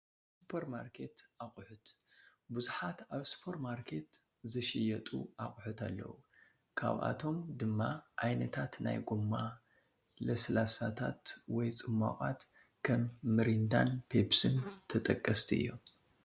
ሱፐርማርኬት ኣቕሑት፡- ብዙሓት ኣብ ሱፐርማርኬት ዝሽየጡ ኣቕሑት ኣለው፡፡ ካብኦቶም ድማ ዓይነታት ናይ ጎማ ለስላሳታት ወይ ፅሟቓት ከም ሚሪንዳን ፔኘስን ተጠቀስቲ እዮም፡፡